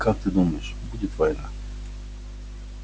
как ты думаешь будет война